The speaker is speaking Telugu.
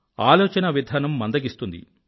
ఆలోచనావిధానం మందగిస్తుంది